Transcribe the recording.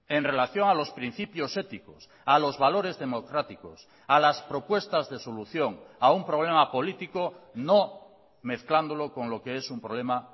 en relación a los principios éticos a los valores democráticos a las propuestas de solución a un problema político no mezclándolo con lo que es un problema